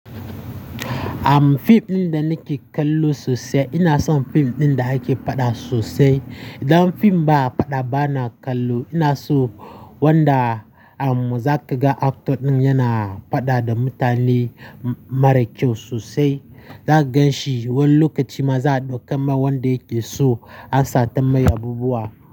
Am fim ɗin da nake kallo sosai, ina son fim ɗin da ake faɗa sosai. Idan fim ba a faɗa ba na kallo, ina so wanda a mu za kaga actor ɗin yana faɗa da mutane mara kyau sosai. Za gan shi wai lokacin ma za ɗauka ma wanda ya iso an sata masa yabi buwa.